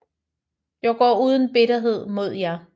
Jeg går uden bitterhed mod jer